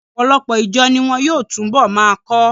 Ọ̀pọ̀lọpọ̀ ìjọ ni wọn yóò túnbọ̀ máa kọ́.